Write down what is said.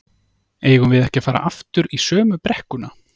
eigum við ekki að fara aftur í sömu brekkuna?